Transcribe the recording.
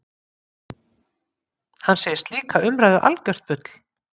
Hann segir slíka umræðu algjört bull